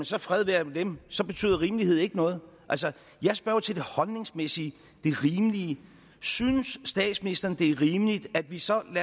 så fred være med dem så betyder rimelighed ikke noget altså jeg spørger jo til det holdningsmæssige det rimelige synes statsministeren at det er rimeligt at vi sammen